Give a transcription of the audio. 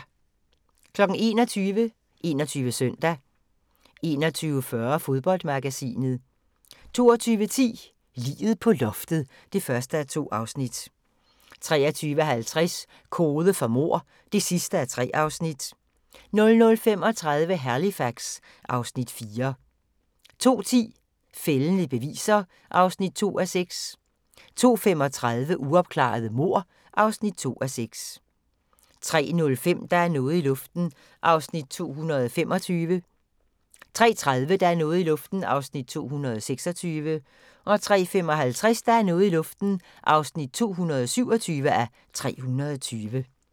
21:00: 21 Søndag 21:40: Fodboldmagasinet 22:10: Liget på loftet (1:2) 23:50: Kode for mord (3:3) 00:35: Halifax (Afs. 4) 02:10: Fældende beviser (2:6) 02:35: Uopklarede mord (2:6) 03:05: Der er noget i luften (225:320) 03:30: Der er noget i luften (226:320) 03:55: Der er noget i luften (227:320)